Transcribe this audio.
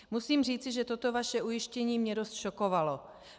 Musím říci, že toto vaše ujištění mě dost šokovalo.